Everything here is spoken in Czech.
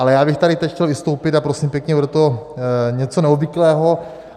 Ale já bych tady teď chtěl vystoupit a prosím pěkně, bude to něco neobvyklého.